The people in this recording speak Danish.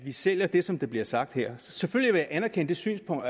at vi sælger det som der bliver sagt her selvfølgelig vil jeg anerkende det synspunkt